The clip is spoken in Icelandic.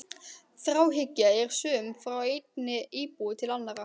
Þráhyggja er söm frá einni íbúð til annarrar.